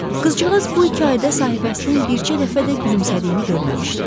Qızcığaz bu iki ayda sahibəsinin bircə dəfə də gülümsədiyini görməmişdi.